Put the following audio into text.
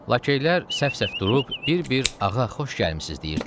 Laşeylər səf-səf durub, bir-bir ağa xoş gəlmisiz deyirdilər.